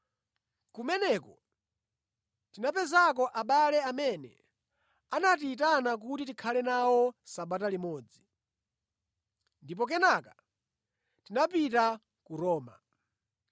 Kumeneko tinapezako abale amene anatiyitana kuti tikhale nawo sabata limodzi. Ndipo kenaka tinapita ku Roma.